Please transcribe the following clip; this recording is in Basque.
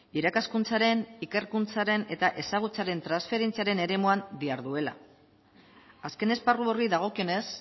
irakaskuntzaren ikerkuntzaren eta ezagutzaren transferentziaren eremuan diharduela azken esparru horri dagokionez